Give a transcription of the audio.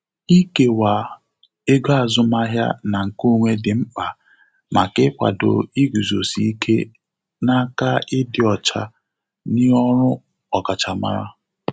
Ikewa ego azụmahịa na nkeonwe dị mkpa maka ikwado iguzosi ike n' aka ịdị ọcha n'ọrụ ọkachamara.